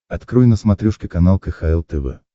открой на смотрешке канал кхл тв